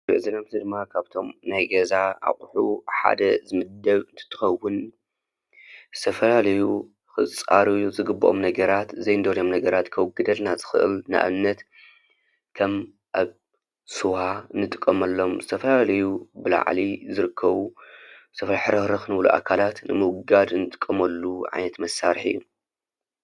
እዚ ንሪኦ ዘለና ጎማ ካብቶም ናይ ገዛ ኣቑሑ ሓደ ዝምደብ እንትትኸውን ዝተፈላለዩ ኽፃረዩ ዝግብኦም ነገራት ዘይንደልዮም ነገራት ከውግደልና ዝኽእል ንኣብነት ከም ኣብ ስዋ ንጥቀመሎም ዝተፈላለዩ ብላዕሊ ዝርከቡ ሕርኽርኽ ዝብሉ ኣካላት ንምውጋድ እንጥቀመሉ ዓይነት መሳርሒ እዩ፡፡